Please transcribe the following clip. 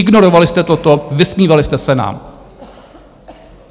Ignorovali jste toto, vysmívali jste se nám.